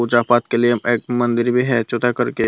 के लिए एक मंदिर में है छोटा करके--